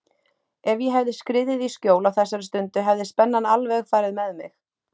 Ef ég hefði skriðið í skjól á þessari stundu hefði spennan alveg farið með mig.